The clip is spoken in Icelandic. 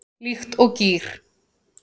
Líkt og gír